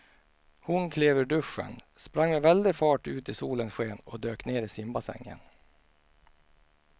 Hon klev ur duschen, sprang med väldig fart ut i solens sken och dök ner i simbassängen.